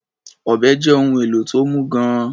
Ọ̀bẹ́ jẹ́ ohun èlò tó mú gan-an.